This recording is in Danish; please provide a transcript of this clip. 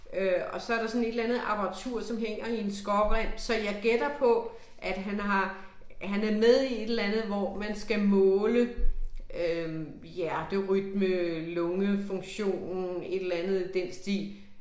Øh og så der sådan et eller andet apparatur som hænger i en skrårem så jeg gætter på at han har, han er med i et eller andet hvor man skal måle øh hjerterytme, lungefunktion, et eller andet i den stil